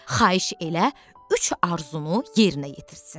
Xahiş elə, üç arzunu yerinə yetirsin.